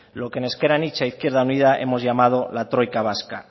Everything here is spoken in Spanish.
lo que en ezker anitza izquierda unida hemos llamado la troika vasca